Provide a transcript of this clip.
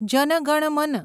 જન ગણ મન